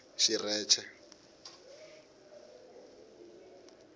xirheche